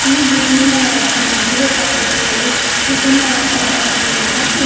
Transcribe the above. ಈ ವಿಭಿನ್ನವಾದ ಮದುವೆ ಪತ್ರಿಕೆಗಳು ವಿಭಿನ್ನವಾದ ಬಣ್ಣಗಳಿಂದ ಕೂಡ್--